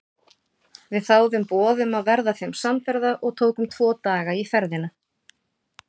Við þáðum boð um að verða þeim samferða og tókum tvo daga í ferðina.